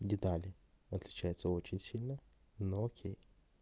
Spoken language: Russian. детали отличается очень сильно но окей